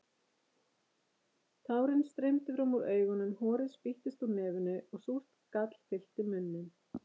Tárin streymdu fram úr augunum, horið spýttist úr nefinu og súrt gall fyllti munninn.